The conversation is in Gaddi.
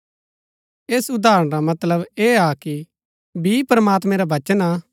ऐस उदाहरण रा मतलब ऐह हा कि बी प्रमात्मैं रा वचन हा